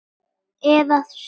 Eða sú.